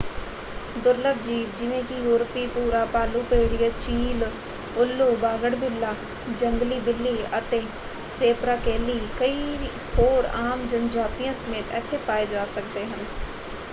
ਦੁਰਲਭ ਜੀਵ ਜਿਵੇਂ ਕਿ ਯੂਰਪੀ ਭੂਰਾ ਭਾਲੂ ਭੇੜੀਆ ਚੀਲ ਉੱਲੂ ਬਾਗੜਬਿੱਲਾ ਜੰਗਲੀ ਬਿੱਲੀ ਅਤੇ ਸੇਪਰਾਕੈਲੀ ਕਈ ਹੋਰ ਆਮ ਜਨਜਾਤੀਆਂ ਸਮੇਤ ਇੱਥੇ ਪਾਏ ਜਾ ਸਕਦੇ ਹਨ।